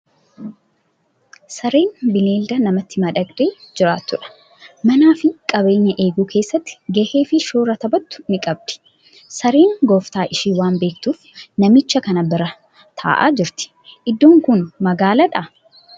Sareen bineelda namatti madaqxee jiraattu dha. Manaa fi qabeenya eeguu keessatti gahee fi shoora taphattu ni qabdi. Sareen gooftaa ishii waan beektuuf namicha kana bira taa'aa jirti. Iddoon kun magaalaadhaa?